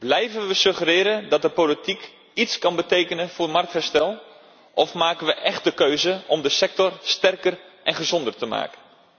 Blijven we suggereren dat de politiek iets kan betekenen voor marktherstel of maken we echte keuzen om de sector sterker en gezonder te maken?